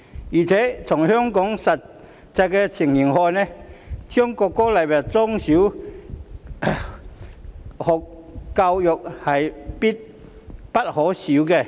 而且，從香港的實際情形來看，將國歌納入中小學校教育是必不可少的。